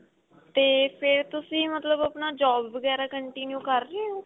ਤੇ ਫੇਰ ਤੁਸੀਂ ਮਤਲਬ ਆਪਣਾ job ਵਗੈਰਾ continue ਕ਼ਰ ਰਹੇ ਓ